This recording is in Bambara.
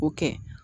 O kɛ